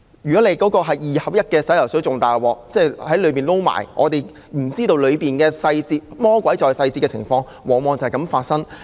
如果那是二合一洗髮水便更糟糕，我們不知道當中的細節，魔鬼在細節的情況往往便是這樣發生。